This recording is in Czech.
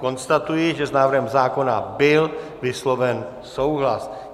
Konstatuji, že s návrhem zákona byl vysloven souhlas.